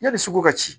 Yanni sugu ka ci